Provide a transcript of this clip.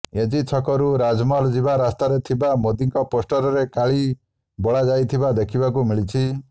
AG ଛକରୁ ରାଜମହଲ ଯିବା ରାସ୍ତାରେ ଥିବା ମୋଦିଙ୍କ ପୋଷ୍ଟରରେ କାଳି ବୋଳାଯାଇଥିବା ଦେଖିବାକୁ ମିଳିଛି